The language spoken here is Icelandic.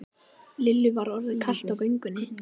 Lillu var orðið kalt á göngunni.